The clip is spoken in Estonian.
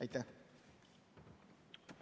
Aitäh!